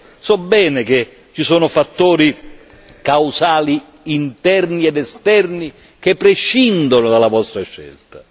Certo, so bene che ci sono fattori causali interni ed esterni che prescindono dalla vostra scelta.